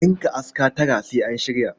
Ɗinka aska tara sai an shirya.